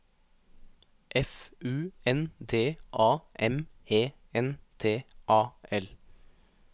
F U N D A M E N T A L